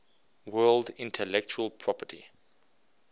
world intellectual property